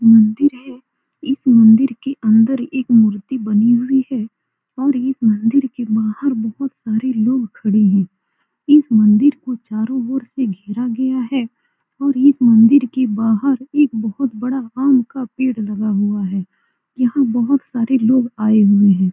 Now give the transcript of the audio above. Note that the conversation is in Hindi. मंदिर है इस मंदिर के अंदर एक मूर्ति बनी हुई है और इस मंदिर के बाहर बहोत सारे लोग खड़े है इस मंदिर को चारो ओर से घेरा गया है और इस मंदिर के बाहर एक बहुत बड़ा आम का पेड़ लगा हुआ है यहाँ बहुत सारे लोग आये हुए है।